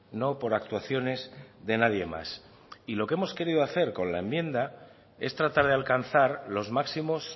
no por actuaciones de nadie más y lo que hemos querido hacer con la enmienda es tratar de alcanzar los máximos